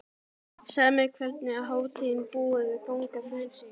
Segðu mér, hvernig er hátíðin búin að ganga fyrir sig?